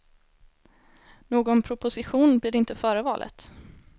Någon proposition blir det inte före valet.